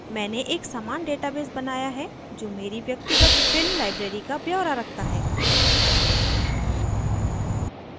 मैंने एक समान database बनाया है जो मेरी व्यक्तिगत फिल्म library का ब्यौरा रखता है